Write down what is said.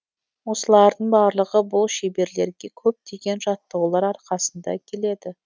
осылардың барлығы бұл шеберлерге көптеген жаттығулар арқасында келеді